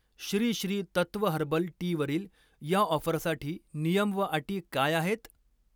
Shri Shri Tattva herbal टीवरील या ऑफरसाठी नियम व अटी काय आहेत?